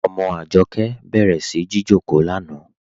Ọmọ Ajọkẹ bẹ̀rẹ̀ sí jìjọkò lánà.